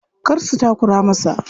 Kar su takura masa.